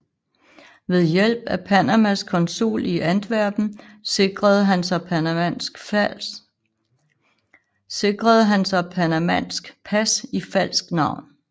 Ved hjælp af Panamas konsul i Antwerpen sikrede han sig panamansk pas i falsk navn